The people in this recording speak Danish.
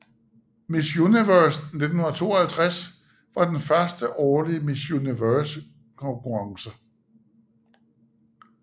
Miss Universe 1952 var den første årlige Miss Universe konkurrence